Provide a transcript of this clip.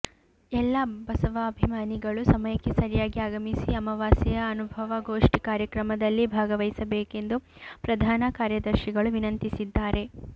ಎಲ್ಲ ಬಸವಾಭಿಮಾನಿಗಳು ಸಮಯಕ್ಕೆ ಸರಿಯಾಗಿ ಆಗಮಿಸಿ ಅಮಾವಾಸ್ಯೆಯ ಅನುಭಾವಗೋಷ್ಠಿ ಕಾರ್ಯಕ್ರಮದಲ್ಲಿ ಭಾಗವಹಿಸಬೇಕೆಂದು ಪ್ರಧಾನ ಕಾರ್ಯದರ್ಶಿಗಳು ವಿನಂತಿಸಿದ್ದಾರೆ